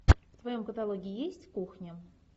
в твоем каталоге есть кухня